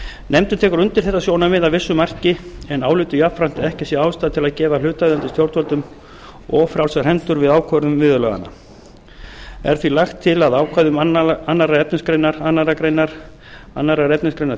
nefndin tekur undir þetta sjónarmið að vissu marki en álítur jafnframt að ekki sé ástæða til að gefa hlutaðeigandi stjórnvöldum of frjálsar hendur við ákvörðun viðurlaganna er því lagt til að ákvæðum annars efnismgr annarri grein annars efnismgr